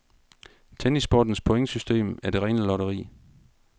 Tennissportens pointsystem er det rene lotteri.